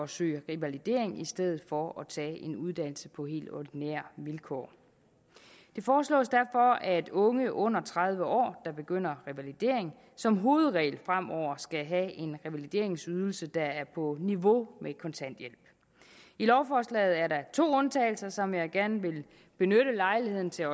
søge revalidering i stedet for at tage en uddannelse på helt ordinære vilkår det foreslås derfor at unge under tredive år der begynder revalidering som hovedregel fremover skal have en revalideringsydelse der er på niveau med kontanthjælp i lovforslaget er der to undtagelser som jeg også gerne vil benytte lejligheden til